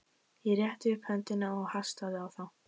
Ég rétti upp höndina og hastaði á þá.